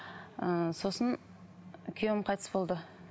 ыыы сосын күйеуім қайтыс болды